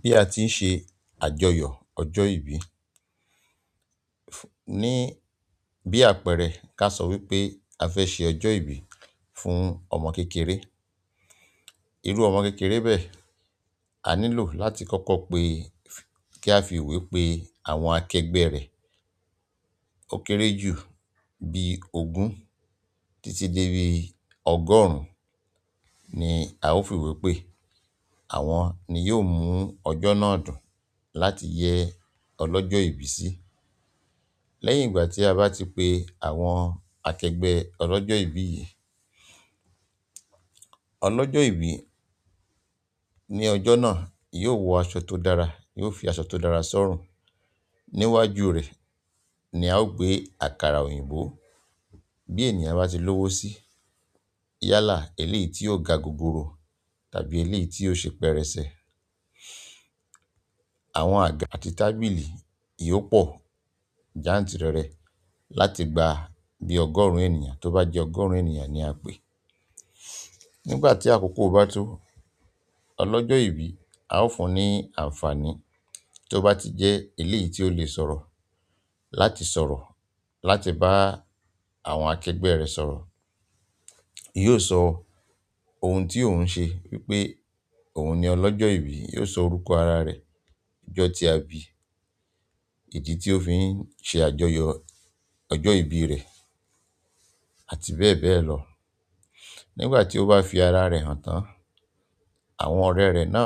Bí a ti ń ṣe àjọyọ̀ ọjọ́ ìbí, ní bí àpẹẹrẹ ká sọ wípé a fẹ́ ṣe ọjọ́ ìbí fún ọmọ kékeré. Iru ọmọ kékeré bẹ́ẹ̀, a nílò láti koko pe, ki a fi ìwé pe àwọn akẹgbẹ́ re ó kéré jù bí ogún títí dé bí ọgọ́rùn ni a ó fi ìwé pé àwọn ni yóò mú ọjọ́ náà dùn láti yẹ ọlọ́jọ́ ìbí sí. Lẹ́yìn ìgbà tí a bá ti pe àwọn akẹgbẹ́ ọlọ́jọ́ ìbí yìí, ọlọ́jọ́ ìbí ní ọjọ́ náà yóò wọ aṣọ tó dára, yóò fi aṣọ tó dára sọ́rùn. Níwájú rẹ̀ ni a ó gbé àkàrà òyìnbó bí ènìyàn bá ti lówó sí, yálà eléyìí tí ó ga gogoro tàbí eléyìí tí ó ṣe pẹrẹsẹ. Àwọn àga àti tábìlì yóò pọ̀ jáǹtìrẹrẹ láti gba bí ọgọ́rùn ènìyàn tó bá jẹ́ ọgọ́rùn ènìyàn ni a pè é. Nígbà tí àkókò bá tó, ọlọ́jọ́ ìbí a ó fún un ní àǹfààní tí ó bá ti jẹ́ eléyìí tí ó le sọ̀rọ̀ láti sọ̀rọ̀ láti bá àwọn akẹgbẹ́ rẹ̀ sọ̀rọ̀. Yóò sọ ohun tí òun ń ṣe wípé òun ni ọlọ́jọ́ ìbí, yóò sọ orúkọ ara rẹ̀, ọjọ́ tí a bi, ìdí tí ó fi ń ṣe àjọyọ̀ ọjọ́ ìbí rẹ̀ àti bẹ́ẹ̀ bẹ́ẹ̀ lọ. Nígbà tí ó bá fi ara rẹ̀ hàn tán, àwọn ọ̀rẹ́ rẹ̀ náà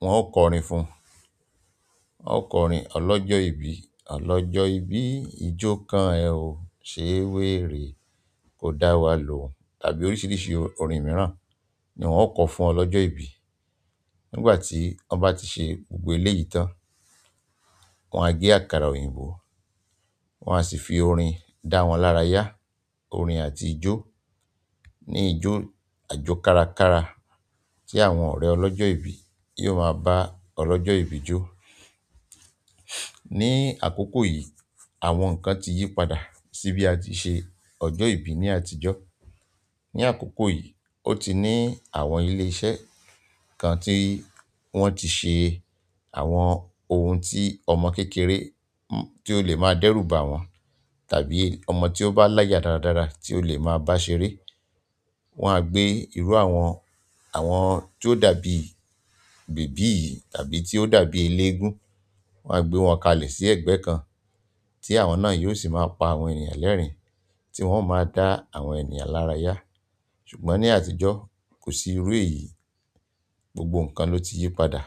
wọ́n ó kọrin fún un. Wọ́n ó kọrin ọlọ́jọ́ ìbí, ọlọ́jọ́ ìbí ijó kan ẹ ò ṣe wèrè, kò dá wa lòun tàbí oríṣìíríṣìí orin mìíràn ni wọ́n ó kọ fún ọlọ́jọ́ ìbí. Nígbà tí wọ́n bá ti ṣe gbogbo eléyìí tán, wọn á gbé àkàrà òyìnbó, wọ́n á sì fi orin dá wọn lára yá, orin àti ijó ní ijó àjó kára kara tí àwọn ọ̀rẹ́ ọlọ́jọ́ ìbí yiò máa bá ọlọ́jọ́ ìbí jó. Ní àkókò yìí, àwọn nǹkan ti yí padà sí bí a ti ṣe ọjọ́ ìbí ní àtijọ́. Ní àkókò yìí, ó ti ní àwọn ilé iṣẹ́ kan tí wọ́n ti ṣe àwọn ohun tí ọmọ kékeré tí ó lè máa dẹ́rù ba wọ́n tàbí ọmọ tí ó bá láyà dáradára tí ó lè máa bá ṣeré. Wọ́n á gbé irú àwọn, àwọn tí ó dàbí bèbí yi tàbí tí ó dàbí eléégún, wọ́n á gbé wọn kalẹ̀ sí ẹ̀gbẹ́ kan tí àwọn náà yiò sì máa pa àwọn ènìyàn lẹ́rìn-ín tí wọ́n yio máa dá àwọn ènìyàn lára yá. Ṣùgbọ́n ní àtijọ́ kò sí irú èyí, gbogbo nǹkan ló ti yí padà.